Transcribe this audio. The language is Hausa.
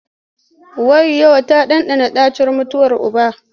Wayyo! ta ɗanɗana ɗacin mutuwar uba.